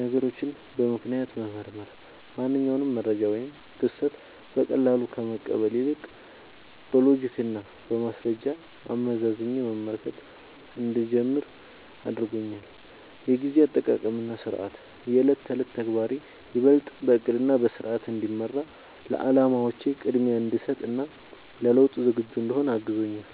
ነገሮችን በምክንያት መመርመር፦ ማንኛውንም መረጃ ወይም ክስተት በቀላሉ ከመቀበል ይልቅ፣ በሎጂክና በማስረጃ አመዛዝኜ መመልከት እንድጀምር አድርጎኛል። የጊዜ አጠቃቀምና ሥርዓት፦ የዕለት ተዕለት ተግባሬ ይበልጥ በዕቅድና በሥርዓት እንዲመራ፣ ለዓላማዎቼ ቅድሚያ እንድሰጥ እና ለለውጥ ዝግጁ እንድሆን አግዞኛል።